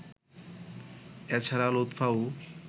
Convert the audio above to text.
এ ছাড়া লুৎফাও